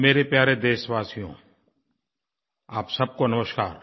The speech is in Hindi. मेरे प्यारे देशवासियो आप सबको नमस्कार